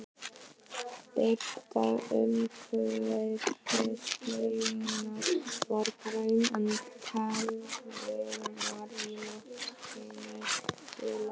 Birtan umhverfis laugina var græn, en perurnar í loftinu gular.